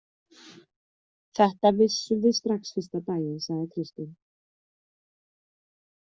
Þetta vissum við strax fyrsta daginn, sagði Kristín.